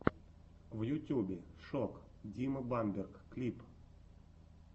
в ютьюбе шок дима бамберг клип